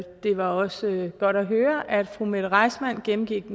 var også godt at høre at fru mette reissmann gennemgik